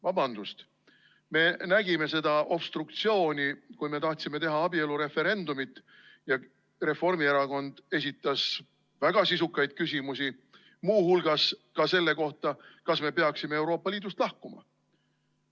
Vabandust, me nägime seda obstruktsiooni, kui me tahtsime teha abielureferendumit ja Reformierakond esitas väga sisukaid küsimusi, muu hulgas ka selle kohta, kas me peaksime Euroopa Liidust lahkuma.